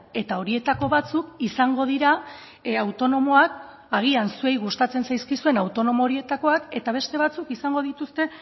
eta horietako batzuk izango dira autonomoak agian zuei gustatzen zaizkizuen autonomo horietakoak eta beste batzuk izango dituzte